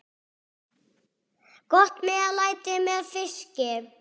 Gott meðlæti með fiski.